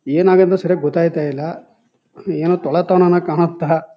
ಏನ್ ಆಗೈತಿ ಅಂತ ಸರಿ ಗೊತೈತ ಇಲ್ಲಾ ಏನೋ ತೋಳೂ ತೋಳನ ಕಾಣತ್ತ್ .